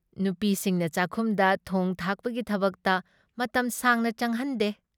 ꯅꯨꯄꯤꯁꯤꯡꯅ ꯆꯥꯛꯈꯨꯝꯗ ꯊꯣꯡ ꯊꯥꯛꯄꯒꯤ ꯊꯕꯛꯇ ꯃꯇꯝ ꯁꯥꯡꯅ ꯆꯪꯍꯟꯗꯦ ꯫